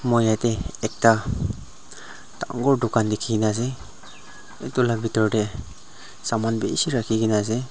moi yate ekta dangor dukan dekhi kena ase etu laga bitor te saman bishih rakhi kena ase.